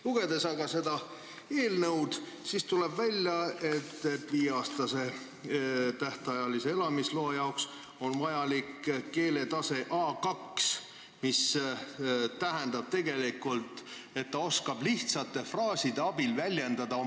Lugedes aga seda eelnõu, tuleb välja, et viieaastase tähtajalise elamisloa jaoks on vajalik keeletase A2, mis tähendab tegelikult, et inimene oskab lihtsate fraaside abil oma vajadusi väljendada.